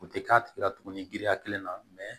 U tɛ k'a tigi la tugun giriya kelen na